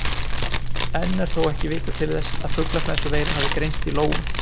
Enn er þó ekki vitað til þess að fuglaflensuveira hafi greinst í lóum.